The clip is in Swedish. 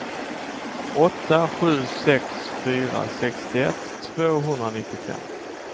åtta sju sex fyra sextioett tvåhundranittiofem